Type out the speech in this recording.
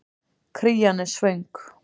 Krían er svöng.